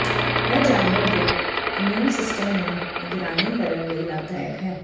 ਇਹ ਜਾਨਵਰ ਦੇ ਇਮਿਊਨ ਸਿਸਟਮ ਨੂੰ ਨਿਗਰਾਨੀ ਕਰਨ ਲਈ ਲਾਭਦਾਇਕ ਹੈ